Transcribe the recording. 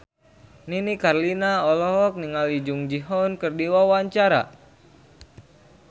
Nini Carlina olohok ningali Jung Ji Hoon keur diwawancara